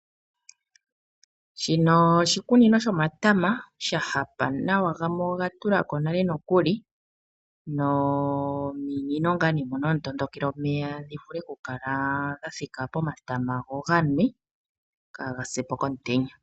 Shino oshikunino shomatama sha hapa nawa gamwe oga tula ko nale nokuli, nominino moka hamu tondokele omeya dhi vule ku kala dha thika pomatama go oga nwe, kaaga se po kokumutenya.